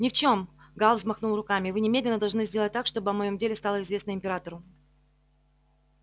ни в чём гаал взмахнул руками вы немедленно должны сделать так чтобы о моём деле стало известно императору